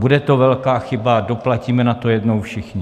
Bude to velká chyba, doplatíme na to jednou všichni.